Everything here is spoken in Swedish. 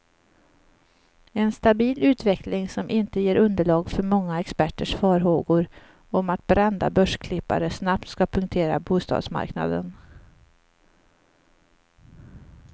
En stabil utveckling, som inte ger underlag för många experters farhågor om att brända börsklippare snabbt ska punktera bostadsmarknaden.